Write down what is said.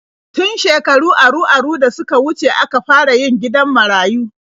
Tun shekaru aru-aru da suka wuce aka fara yin gidan marayu.